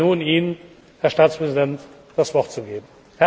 Ich freue mich nun, Ihnen, Herr Staatspräsident, das Wort zu geben.